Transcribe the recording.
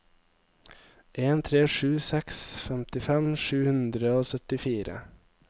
en tre sju seks femtifem sju hundre og syttifire